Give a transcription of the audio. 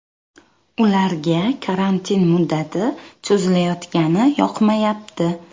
Ularga karantin muddati cho‘zilayotgani yoqmayapti.